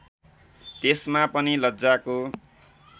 त्यसमा पनि लज्जाको